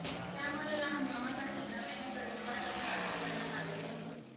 त्यामुळे या हंगामासाठी नव्याने कर्जवाटप फारसे करण्यात आलेले नव्हते